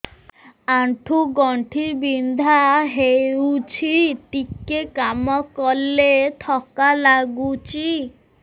ଆଣ୍ଠୁ ଗଣ୍ଠି ବିନ୍ଧା ହେଉଛି ଟିକେ କାମ କଲେ ଥକ୍କା ଲାଗୁଚି